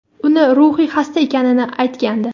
uni ruhiy xasta ekanini aytgandi.